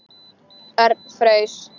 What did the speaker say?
Örn fraus.